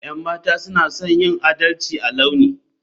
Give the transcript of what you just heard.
Yan mata suna son yin adalci a launi.